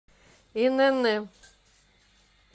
инн